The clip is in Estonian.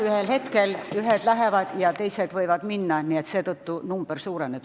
Ühel hetkel ühed lahkuvad missioonilt ja teised võivad missioonile minna, seetõttu number suureneb.